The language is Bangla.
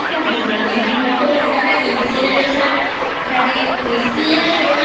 খুব ভালো আমার মতে মনে হয় Next Generation মানে Messi আর Ronaldo